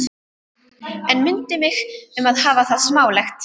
En mundu mig um að hafa það smálegt.